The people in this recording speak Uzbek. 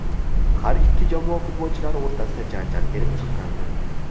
Har ikki jamoa futbolchilari o‘rtasida janjal kelib chiqqandi.